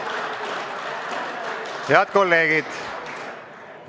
Hääletustulemused Head kolleegid!